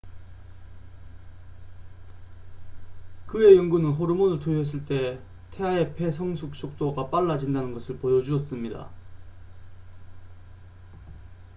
그의 연구는 호르몬을 투여했을 때 태아의 폐 성숙 속도가 빨라진다는 것을 보여주었습니다